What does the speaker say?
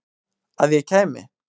Að ég kæmi?